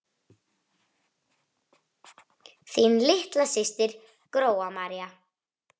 Þín litla systir, Gróa María.